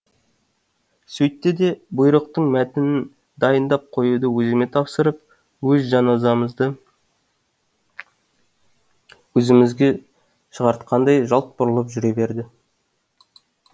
сөйтті де бұйырықтың мәтінін дайындап қоюды өзіме тапсырып өз жаназамызды өзімізге шығартқандай жалт бұрылып жүре берді